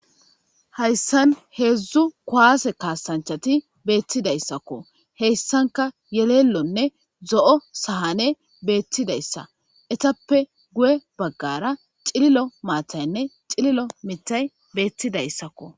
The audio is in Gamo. Hayssan heedzdzu kuwaase kaasanchati beettidayssakko heyssanka yelellonne zo7o sahane beettidayssa etappe guye baggara xililo maataynne xililo mitay beetti dayssakko.